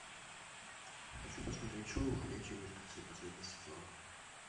хочу посмотреть шоу ходячие мертвецы последний сезон